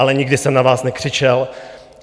Ale nikdy jsem na vás nekřičel.